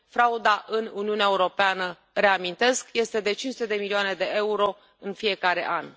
Frauda în Uniunea Europeană, reamintesc, este de 500 de milioane de euro în fiecare an.